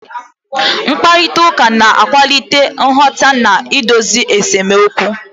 Mkparịta ụka na-akwalite nghọta na idozi esemokwu.